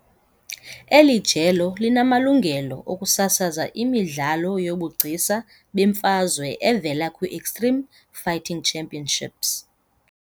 Eli jelo linamalungelo okusasaza imidlalo yobugcisa bemfazwe evela kwi-Extreme Fighting Championships.